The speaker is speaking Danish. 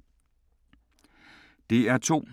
DR2